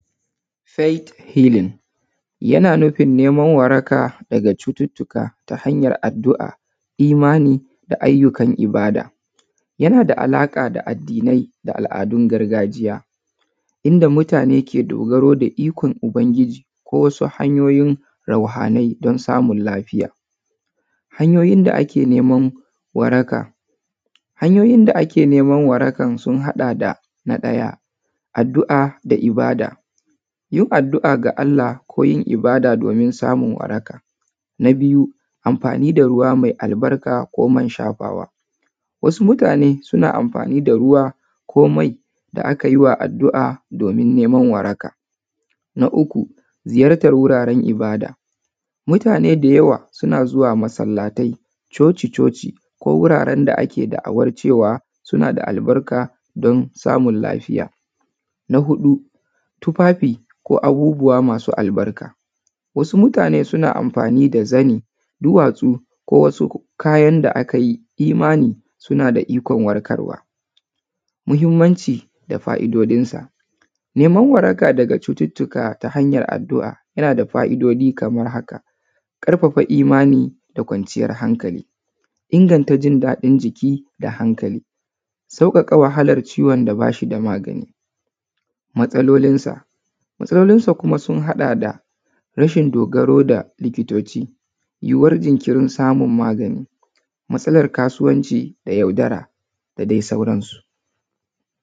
Faith healin yana nufin neman waraka daga cututtuka ta hanyar addu’a, imani da ayyukan ibada. Yana da alaƙa da addinai da al’adun gargajiya, inda mutane ke dogaro da ikon Ubangiji ko wasu hanyoyin rauhanai don samun lafiya. Hanyoyin da ake neman waraka. Hanyoyin da ake neman warakan sun haɗa da: na ɗaya, addu’a da ibada:- yin addu’a ga Allah ko yin ibada domin samun waraka. Na biyu, amfani da ruwa mai albarka ko man shafawa:- wasu mutane suna amfani da ruwa ko mai da aka yi wa addu’a domin neman waraka. Na uku, ziyartar wuraren ibada:- mutane da yawa suna zuwa masallatai, coci-coci ko wuraren da ake da’awar cewa suna da albarka don samun lafiya. Na huɗu, tufafi ko abubuwa masu albarka:- wasu mutane suna amfani da zani, duwatsu ko wasu kayan da aka yi imani suna da ikon warkarwa. Muhimmanci da fa’idojinsa, neman waraka daga cututtuka ta hanyar addu’a yana da fa’idoji kamar haka: ƙarfafa imani da kwanciyar hankali, inganta jin daɗin jiki da hankali, sauƙaƙa wahalar ciwon da ba shi da magani. Matsalolinsa: matsalolinsa kuma sun haɗa da: rashin dogaro da likitoci, yiwuwar jinkirin samun magani, matsalar kasuwanci da yaudara da dai sauransu.